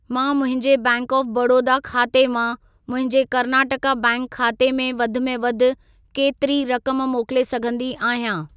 मां मुंहिंजे bank of Baroda खाते मां मुंहिंजे कर्नाटका बैंक खाते में वधि में वधि केतिरी रक़म मोकिले सघंदी आहियां?